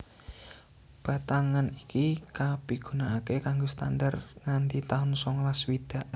Batangan iki kapigunakaké kanggo standar nganti taun songolas swidak